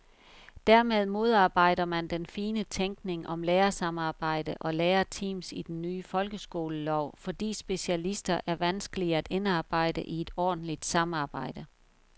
Dermed modarbejder man den fine tænkning om lærersamarbejde og lærerteams i den nye folkeskolelov, fordi specialister er vanskelige at indarbejde i et ordentligt samarbejde.